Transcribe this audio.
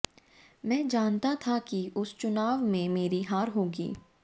मैं जानता था कि इस चुनाव में मेरी हार होगी